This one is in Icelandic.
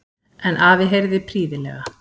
En afi heyrði prýðilega.